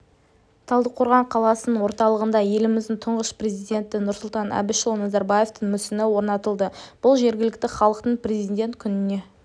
талдықорған қаласының орталығында еліміздің тұңғыш президенті нұрсұлтан әбішұлы назарбаевтың мүсіні орнатылды бұл жергілікті халықтың президент күніне